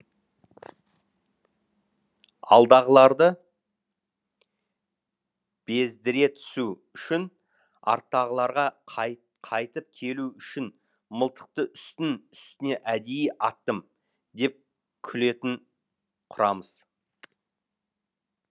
алдағыларды бездіре түсу үшін арттағыларға қайтып келу үшін мылтықты үстін үстіне әдейі аттым деп күлетін құрамыс